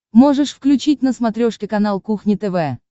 можешь включить на смотрешке канал кухня тв